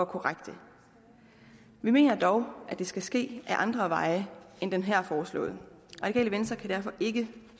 korrekte vi mener dog at det skal ske ad andre veje end den her foreslåede radikale venstre kan derfor ikke